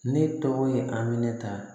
Ne tɔgɔ ye aminɛnta